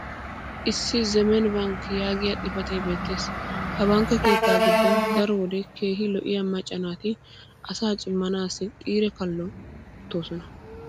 issi "zemen bank" yaagiya xifatee beettees. ha bankke keettaa giddon daro wode keehi lo'iya macca naati asaa cimmanaassi xiire qixxi gi uttoosona.